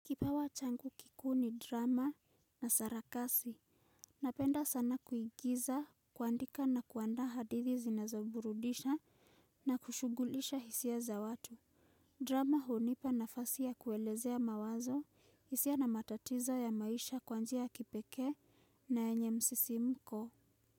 Kipawa changu kikuu ni drama na sarakasi. Napenda sana kuigiza, kuandika na kuandaa hadithi zinazoburudisha na kushugulisha hisia za watu. Drama hunipa nafasi ya kuelezea mawazo, hisia na matatizo ya maisha kwa njia ya kipekee na yenye msisimko.